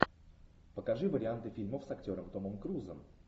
покажи варианты фильмов с актером томом крузом